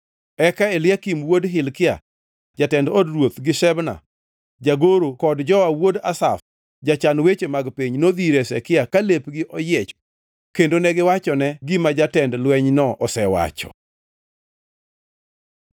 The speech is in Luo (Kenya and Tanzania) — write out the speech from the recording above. Eka Eliakim wuod Hilkia jatend od ruoth gi Shebna jagoro kod Joa wuod Asaf, jachan weche mag piny, nodhi ir Hezekia ka lepgi oyiech kendo negiwachone gima jatend lwenyno osewacho.